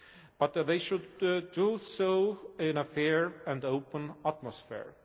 But they should do so in a fair and open atmosphere.